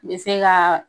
Bɛ se ka